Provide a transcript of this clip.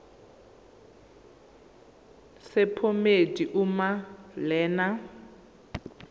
sephomedi uma lena